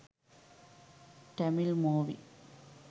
tamil movie